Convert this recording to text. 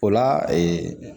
O la